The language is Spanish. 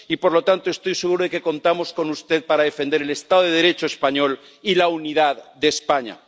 Y, por lo tanto, estoy seguro de que contamos con usted para defender el Estado de Derecho español y la unidad de España.